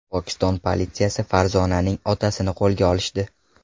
Pokiston politsiyasi Farzonaning otasini qo‘lga olishdi.